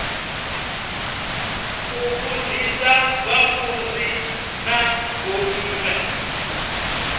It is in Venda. u vhudzisa vhafunzi na vhomme